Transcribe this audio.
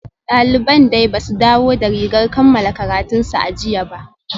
Daliban dai ba su dawo da rigar kammala karatunsu a jiya ba